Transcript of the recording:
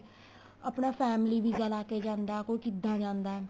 ਕੋਈ ਆਪਣਾ family visa ਲਾ ਕੇ ਜਾਂਦਾ ਕੋਈ ਕਿੱਦਾਂ ਜਾਂਦਾ